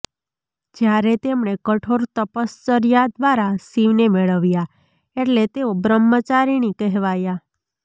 જ્યારે તેમણે કઠોર તપશ્ચર્યા દ્વારા શિવને મેળવ્યા એટલે તેઓ બ્રહ્મચારિણી કહેવાયા